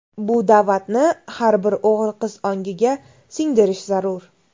Bu da’vatni har bir o‘g‘il-qiz ongiga singdirish zarur.